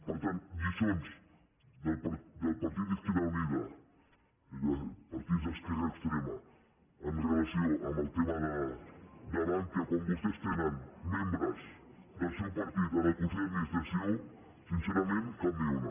per tant lliçons del partit de izquierda unida partit d’esquerra extrema amb relació al tema de bankia quan vostès tenen membres del seu partit en el consell d’administració sincerament cap ni una